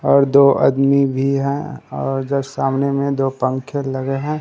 और दो आदमी भी है और जस्ट सामने में दो पंखे लगे हैं।